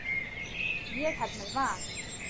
Ég held með Val.